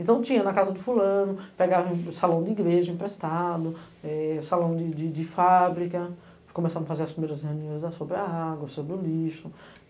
Então tinha na casa do fulano, pegava o salão de igreja emprestado, é, salão de fábrica, começava a fazer as primeiras reuniões sobre a água, sobre o lixo.